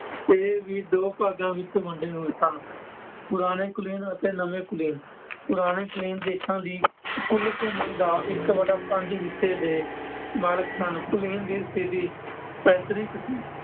ਇਹ ਵੀ ਦੋ ਭਾਗਾਂ ਵਿੱਚ ਵੰਡੇ ਹੋਏ ਸਨ-ਪੁਰਾਣੇ ਕੁਲੀਨ ਅਤੇ ਨਵੇਂ ਕੁਲੀਨ । ਪੁਰਾਣੇ ਕੁਲੀਨ ਦੇਸ਼ਾਂ ਦੀ ਕੁੱਲ ਭੂਮੀ ਦਾ ਇੱਕ ਵਟਾ ਪੰਜ ਹਿੱਸੇ ਦੇ ਮਾਲਕ ਸਨ । ਕੁਲੀਨ ਦੀ ਸਥਿਤੀ ਪੈਤ੍ਰਿਕ ਸੀ